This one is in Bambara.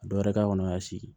Dɔ wɛrɛ k'a kɔnɔ y'a sigi